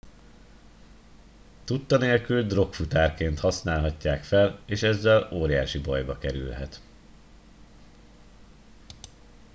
tudta nélkül drogfutárként használhatják fel és ezzel óriási bajba kerülhet